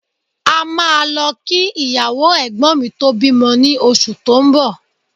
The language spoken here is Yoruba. A máa lọ kí ìyàwó Ẹ̀gbọ́n mi tó bímọ ní oṣù tó ń bọ̀